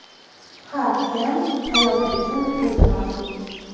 Har kim hayoti uchun o‘zi mas’ul.